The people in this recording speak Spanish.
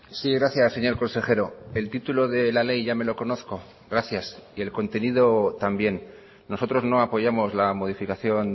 sí gracias señor consejero el título de la ley ya me lo conozco gracias y el contenido también nosotros no apoyamos la modificación